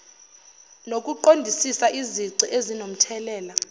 nokuqondisisa izici ezinomthelela